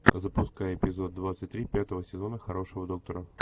запускай эпизод двадцать три пятого сезона хорошего доктора